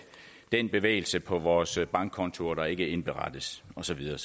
den bevægelse på vores bankkontoer der ikke indberettes og så videre